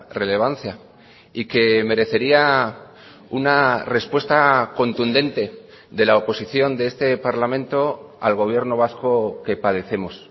relevancia y que merecería una respuesta contundente de la oposición de este parlamento al gobierno vasco que padecemos